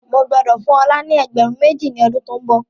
Mo gbọ́dọ̀ fún ọ̀la ni ẹgbẹ̀rún méjì ni ọdún to ń bọ̀.